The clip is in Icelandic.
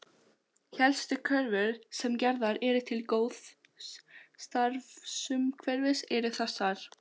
Helstu kröfur sem gerðar eru til góðs starfsumhverfis eru þessar